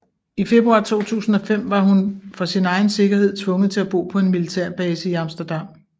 I februar 2005 var hun for sin egen sikkerhed tvunget til at bo på en militærbase i Amsterdam